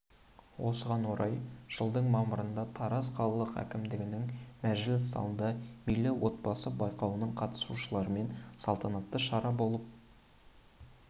осыған орай жылдың мамырында тараз қалалық әкімдігінің мәжіліс залында мерейлі отбасы байқауының қатысушыларымен салтанатты шара болып